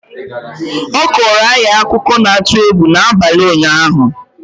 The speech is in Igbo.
a kọọrọ anyị akụkọ na-atụ egwu n'abalị ụnyaahụ